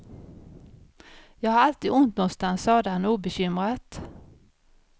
Jag har alltid ont nånstans, sade han obekymrat.